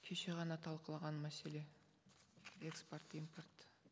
кеше ғана талқылаған мәселе экспорт импорт